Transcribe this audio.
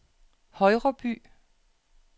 Højreby